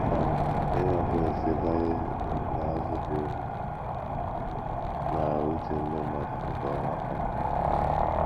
um Ime mpụ na - esitekarị n’azụghị obi um na uche ndị mmadụ nke ọma. um